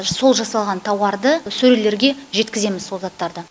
сол жасалған тауарды сөрелерге жеткіземіз сол заттарды